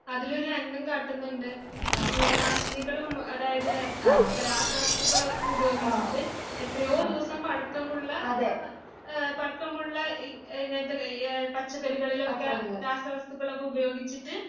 അതിലൊരു രംഗം കാട്ടുന്നുണ്ട് ഈ കീടനാശിനികളും അതായത് ഏഹ് രാസവസ്തുക്കളൊക്കെ ഉപയോഗിച്ചിട്ട് എത്രയോ ദിവസം പഴക്കമുള്ള ഏഹ് പഴക്കമുള്ള ഈ ഇങ്ങനത്തെ എഹ് പച്ചക്കറികളിലൊക്കെ രാസവസ്തുക്കളൊക്കെ ഉപയോഗിച്ചിട്ട്